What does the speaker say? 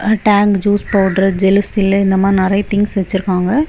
Tang juice powder Gelusil இந்த மாரி நெறைய திங்ஸ் வெச்சிருக்காங்க.